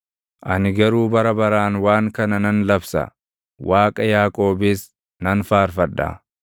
Ani garuu bara baraan waan kana nan labsa; Waaqa Yaaqoobis nan faarfadha.